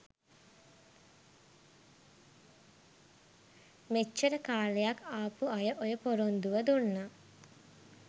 මෙච්චර කාලයක් ආපු අය ඔය පොරොන්දුව දුන්නා.